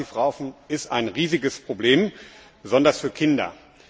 Passivrauchen ist ein riesiges Problem, besonders für Kinder.